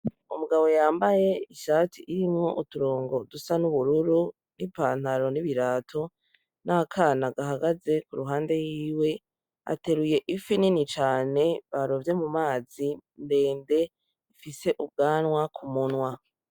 Umugabo yambaye ishati irimwo uturongo dusa n'ubururu n'ipantaro n'ibirato n'akana agahagaze ku ruhande yiwe ateruye ifi nini cane barovye mu mazi ndende ifise ubwanwa ku munwa.